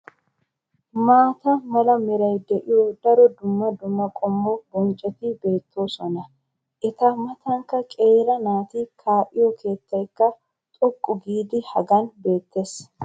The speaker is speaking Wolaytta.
maata mala meray de'iyo daro dumma dumma qommo bonccoti beetoosona. eta matankka qeeri naati kaa'iyo keettaykka xoqqu giidi hagan beetees.